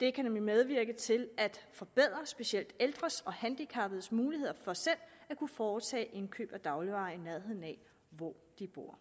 da det nemlig kan medvirke til at forbedre specielt ældres og handicappedes muligheder for selv at kunne foretage indkøb af dagligvarer i nærheden af hvor de bor